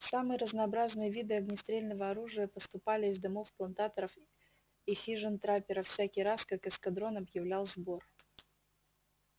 самые разнообразные виды огнестрельного оружия поступали из домов плантаторов и хижин трапперов всякий раз как эскадрон объявлял сбор